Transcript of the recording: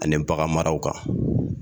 Ani bagan maraw kan